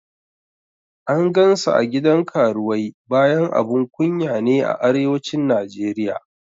An gan sa a gidan karuwai bayan abun kunya ne a Arewacin Najeriya